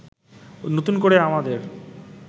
নতুন করে আমাদের